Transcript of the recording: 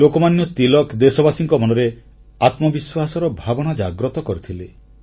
ଲୋକମାନ୍ୟ ତିଳକ ଦେଶବାସୀଙ୍କ ମନରେ ଆତ୍ମବିଶ୍ୱାସର ଭାବନା ଜାଗ୍ରତ କରିଥିଲେ